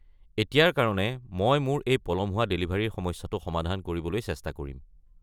এতিয়াৰ কাৰণে মই মোৰ এই পলম হোৱা ডেলিভাৰীৰ সমস্যাটো সমাধান কৰিবলৈ চেষ্টা কৰিম।